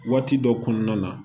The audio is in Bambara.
Waati dɔ kɔnɔna na